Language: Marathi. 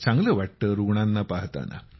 चांगलं वाटतं रूग्णांना पहाण्यात